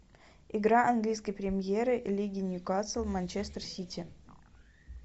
игра английской премьер лиги ньюкасл манчестер сити